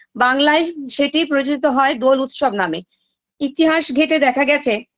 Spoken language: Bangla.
বাংলায় সেটি প্রজিত হয় দোল উৎসব নামে ইতিহাস ঘেঁটে দেখা গেছে